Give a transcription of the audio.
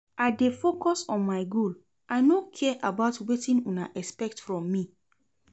I dey focus on my goal, I no care about wetin una expect from me.